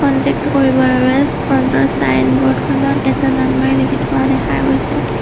Contact টো কৰিবৰ বাবে ফ্ৰণ্ট ৰ ছাইনবোৰ্ড খনত এটা নাম্বাৰ লিখি থোৱা দেখা গৈছে।